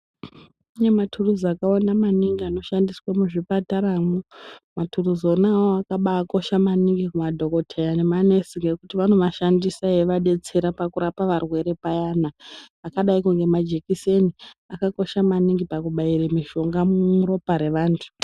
Kune maturuzi akawanda maningi anoshandiswa muzvipataramwo maturuzi ona iwawo akaba kosha kumadhokodheya nemanesi ngekuti vanomashandisa veida kurapa varwere payani akadai nemajekiseni akakosha maningi pakubaira mishonga muropa evantu.